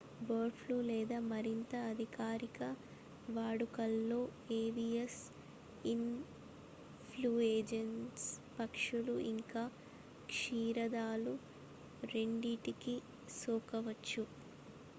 bird flu లేదా మరింత అధికారిక వాడుకలో ఏవియన్ ఇన్ ఫ్లూయెంజా పక్షులు ఇంక క్షీరదాలు రెండింటికీ సోకవచ్చు